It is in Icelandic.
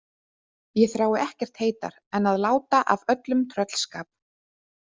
Ég þrái ekkert heitar en að láta af öllum tröllskap.